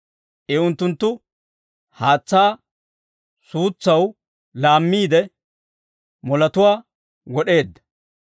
I Unttunttu haatsaa suutsaw laammiide, moletuwaa wod'eedda.